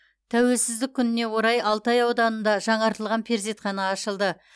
тәуелсіздік күніне орай алтай ауданында жаңартылған перзентхана ашылды